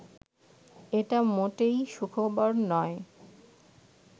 এটা মোটেই সুখবর নয়